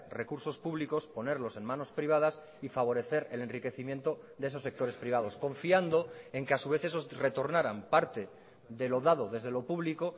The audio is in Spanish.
recursos públicos ponerlos en manos privadas y favorecer el enriquecimiento de esos sectores privados confiando en que a su vez esos retornaran parte de lo dado desde lo público